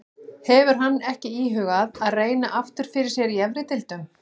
Hefur hann ekki íhugað að reyna aftur fyrir sér í efri deildum?